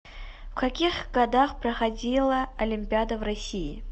в каких годах проходила олимпиада в россии